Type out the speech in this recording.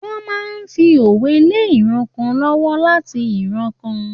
Wọ́n máa ń fi òwe lé ìran kan lọ́wọ́ láti ìran kan.